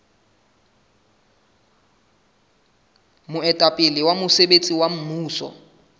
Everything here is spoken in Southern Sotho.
moetapele wa mosebetsi wa mmuso